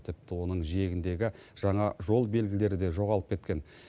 тіпті оның жиегіндегі жаңа жол белгілері де жоғалып кеткен